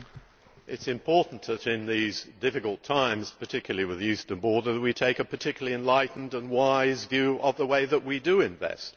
It is important that in these difficult times, particularly with the eastern border, we take a particularly enlightened and wise view of the way that we invest.